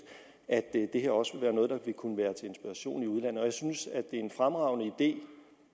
at det her også vil kunne være til inspiration i udlandet jeg synes det er en fremragende idé